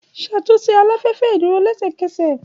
Ṣatunṣe alafẹfẹ iduro lẹsẹkẹsẹ!